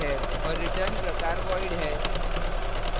और return प्रकार void है